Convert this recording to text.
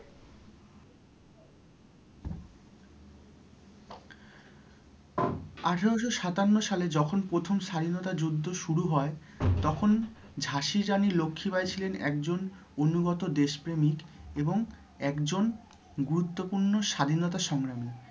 আঠেরোশো সাতান্ন সালে যখন প্রথম স্বাধীনতা যুদ্ধ শুরু হয়ে তখন ঝাঁসির রানী লক্ষি বাই ছিলেন একজন অনুগত দেশ প্রেমীক এবং একজন গুরুত্বপূর্ণ স্বাধীনতা সংগ্রামী।